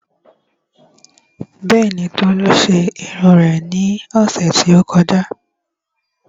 Bẹ́ẹ̀ni, Tolu ṣe irun rẹ̀ ní ọ̀sẹ̀ tí ó kọjá